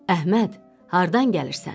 Əhməd, hardan gəlirsən?